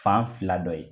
Fan fila dɔ ye